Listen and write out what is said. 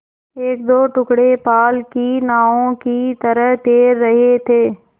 एकदो टुकड़े पाल की नावों की तरह तैर रहे थे